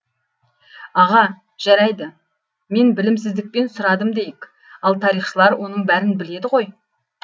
аға жарайды мен білімсіздікпен сұрадым дейік ал тарихшылар оның бәрін біледі ғой